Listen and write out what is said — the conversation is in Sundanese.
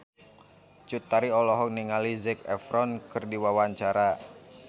Cut Tari olohok ningali Zac Efron keur diwawancara